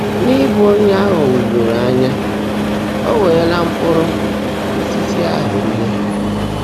N’ị́bụ́ ónyé á ghọ́gbúnyụ́rụ́ ányá, ó weèré mkpụ́rụ́ ósiisí áhụ́ ríe.